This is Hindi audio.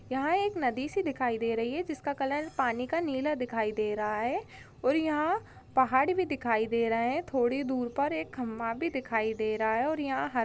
यहाँ एक नदी सी दिखाई दे रही है जिसका कलर पानी का नीला दिखाई दे रहा है और यहाँ पहाड़ भी दिखाई दे रहे है थोड़ी देर पर एक खंबा भी दिखाई दे रहा है और यहाँ--